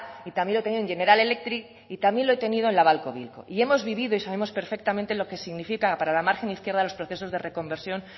y también lo he tenido en general electric y también lo he tenido en la babcock wilcox y hemos vivido y sabemos perfectamente lo que significa para la margen izquierda los procesos de reconversión